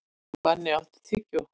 Manni, áttu tyggjó?